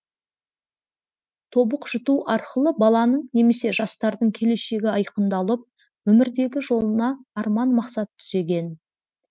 тобық жұту арқылы баланың немесе жастардың келешегі айқындалып өмірдегі жолына арман мақсат түзеген